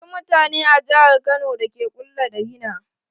Akwai mutane a jihar kano da ke ƙulla da rina.